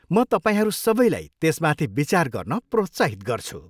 म तपाईँहरू सबैलाई त्यसमाथि विचार गर्न प्रोत्साहित गर्छु।